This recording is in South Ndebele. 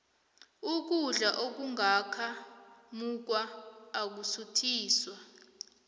ukudla okungaka mungwa akusuthisi